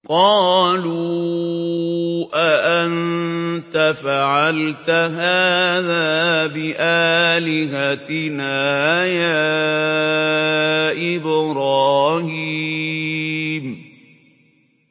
قَالُوا أَأَنتَ فَعَلْتَ هَٰذَا بِآلِهَتِنَا يَا إِبْرَاهِيمُ